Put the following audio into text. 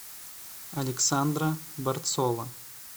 александра борцова